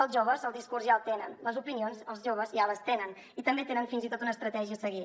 els joves el discurs ja el tenen les opinions els joves ja les tenen i també tenen fins i tot una estratègia a seguir